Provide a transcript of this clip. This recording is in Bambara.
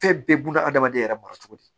Fɛn bɛɛ buna hadamaden yɛrɛ mara cogo di